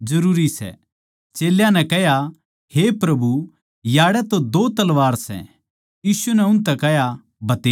चेल्यां नै कह्या हे प्रभु याड़ै दो तलवार सै यीशु नै उन ताहीं कह्या भतेरी सै